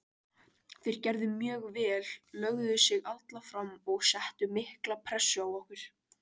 Þeir gerðu mjög vel, lögðu sig alla fram og settu mikla pressu á okkur.